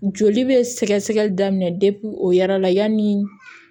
Joli bɛ sɛgɛsɛgɛli daminɛ de o ya la yanni